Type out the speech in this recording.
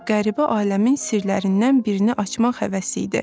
Bu qəribə aləmin sirlərindən birini açmaq həvəsi idi.